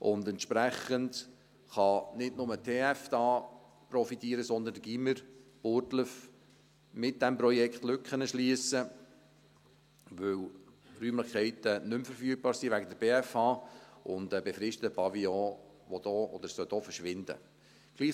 Und entsprechend kann nicht nur die TF da profitieren, sondern das Gymnasium, Burgdorf, mit diesem Projekt Lücken zu schliessen, weil die Räumlichkeiten nicht mehr verfügbar sind wegen der BFH und der befristete Pavillon, der verschwinden sollte.